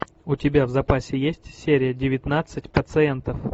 у тебя в запасе есть серия девятнадцать пациентов